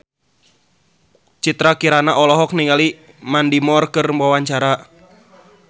Citra Kirana olohok ningali Mandy Moore keur diwawancara